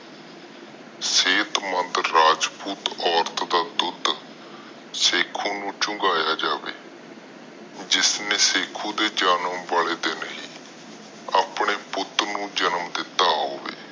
ਸੇਕ ਬਹਾਦੁਰ ਰਾਜਪੂਤ ਔਰਤ ਦਾ ਦੁੱਧ ਸ਼ੱਕੂ ਨੂੰ ਚੁੰਗੀਆਂ ਜਾਵੇ ਜਿਸਨੇ ਸ਼ੱਕੂ ਦੇ ਜਨਮ ਵਾਲੇ ਦਿਨ ਹੀ ਆਪਣੇ ਪੁੱਟ ਨੂੰ ਜਨਮ ਦਿਤਾ ਹੋਵੇ